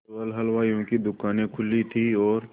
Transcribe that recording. केवल हलवाइयों की दूकानें खुली थी और